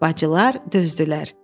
Bacılar dözdülər.